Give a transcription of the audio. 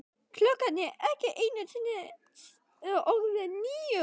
Klukkan er ekki einu sinni orðin níu.